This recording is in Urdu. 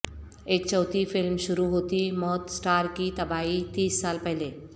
ایک چوتھی فلم شروع ہوتی موت سٹار کی تباہی تیس سال پہلے